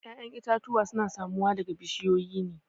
ya'yan itatuwa suna samuwa daga bushiyoyi ne